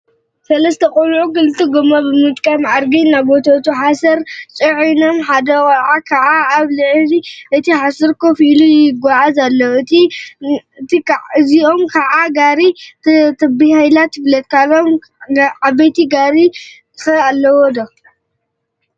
ሰለስተ ቆልዑ ክልተ ጎማ ብምጥቃም ብአድጊ እናጎተቱ ሓሰር ፅዒኖም ሓደ ቆልዓ ከዓ አብ ልዕሊ እቲ ሓሰር ኮፍ ኢሉ ይጎዓዙ አለው፡፡ እዚአ ከዓ ጋሪ ተባሂላ ትፍለጥ፡፡ ካልኦት ዓበይቲ ጋሪታት ኸ አለዋ ዶ?